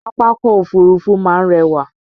Pápákọ̀ Òfurufú máa ń rẹwà